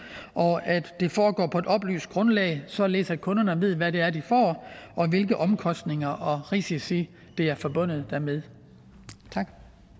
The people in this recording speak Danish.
og at det foregår på et oplyst grundlag således at kunderne ved hvad det er de får og hvilke omkostninger og risici der er forbundet dermed tak